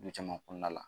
Du caman kɔnɔna la